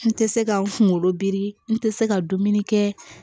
N tɛ se ka n kunkolo biri n tɛ se ka dumuni kɛ